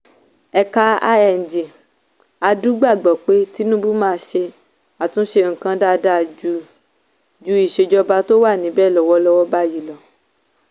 ẹ̀ka lng adu gbàgbọ́ pé tinubu máa ṣe àtúnṣe nǹkan dáadáa ju ju ìsèjọba tó wà níbẹ̀ lọ́wọ́lọ́wọ́ báyìí lọ.